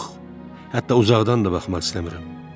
Yox, hətta uzaqdan da baxmaq istəmirəm.